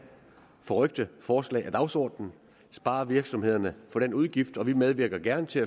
forrykte forslag af dagsordenen og spare virksomhederne for den udgift vi medvirker gerne til